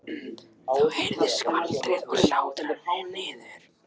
Þá heyrðist skvaldrið og hlátrarnir niður.